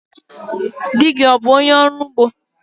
Dị gị ọ bụ ọnye orụ ụgbọ?